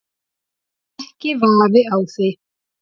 Ekki vafi á því.